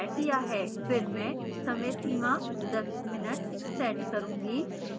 फिर मैं समय सीमा 10 mins set करूँगी